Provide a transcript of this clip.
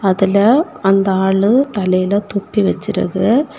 அதுல அந்த ஆளு தலையில தொப்பி வச்சிருக்கு.